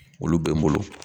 Olu bɛ n bolo